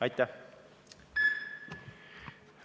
Aitäh!